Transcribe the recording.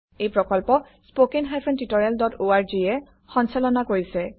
এই প্ৰকল্প httpspoken tutorialorg এ কোঅৰ্ডিনেট কৰিছে